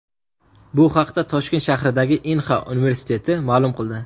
Bu haqda Toshkent shahridagi Inha universiteti ma’lum qildi .